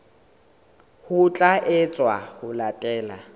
ho tla etswa ho latela